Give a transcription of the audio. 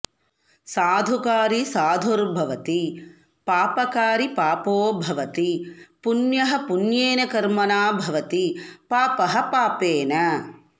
साधुकारी साधुर्भवति पापकारी पापो भवति पुण्यः पुण्येन कर्मणा भवति पापः पापेन